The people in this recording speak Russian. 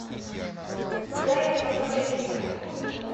дай мне посмотреть фильм уникум